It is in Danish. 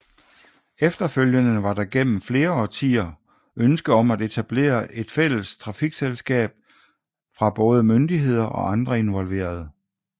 Efterfølgende var der gennem flere årtier ønske om at etablere et fælles trafikselskaber fra både myndigheder og andre involverede